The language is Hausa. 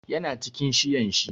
Ya na cikin shiyan shi.